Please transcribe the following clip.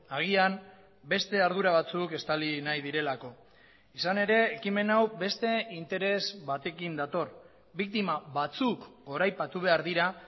agian beste ardura batzuk estali nahi direlako izan ere ekimen hau beste interes batekin dator biktima batzuk goraipatu behar dira